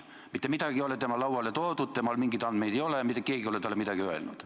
Mitte midagi ei ole tema lauale toodud, temal mingeid andmeid ei ole, mitte keegi ei ole talle midagi öelnud.